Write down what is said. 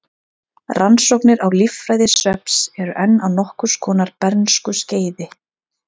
Rannsóknir á líffræði svefns eru enn á nokkurs konar bernskuskeiði.